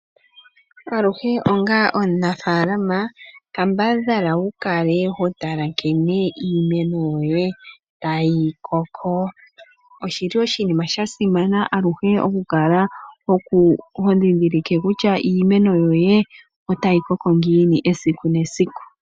Aluhe onga omunafaalama kambadhala wu kale ho tala nkene iimeno yoye tayi koko. oshili oshinima sha simana aluhe oku kala ho ndhindhilike kutya iimeno yoye otayi koko ngiini esiku nesiku.